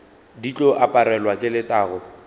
di tlo aparelwa ke letago